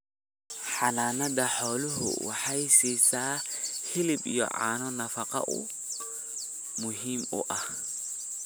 Xanaanada xooluhu waxay siisaa hilib iyo caano nafaqo oo muhiim u ah.